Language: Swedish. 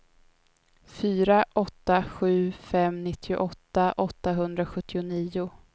fyra åtta sju fem nittioåtta åttahundrasjuttionio